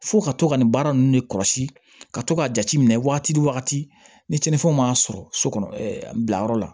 Fo ka to ka nin baara nunnu de kɔlɔsi ka to k'a jateminɛ waati ni cɛnnifɛnw m'a sɔrɔ so kɔnɔ bila yɔrɔ la